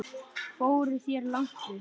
Fóruð þér langt upp?